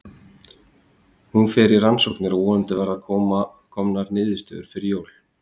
Hún fer í rannsóknir og vonandi verða komanr niðurstöður fyrir jól.